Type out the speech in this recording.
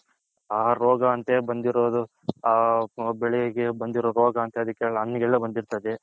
ಆ ರೋಗ ಅಂತೆ ಬಂದಿರೋದು ಆ ಬೆಳ್ಳೆಗೆ ಬಂದಿರೋ ರೋಗ ಅಂತೆ ಅದಿಕ್ಕೆ ಹಣ್ಣಿಗೆ ಎಲ್ಲಾ ಬಂದಿರ್ತದೆ.